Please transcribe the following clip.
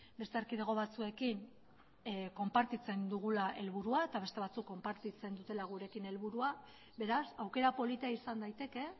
beste erkidego batzuekin konpartitzen dugula helburua eta beste batzuk konpartitzen dutela gurekin helburua beraz aukera polita izan daiteke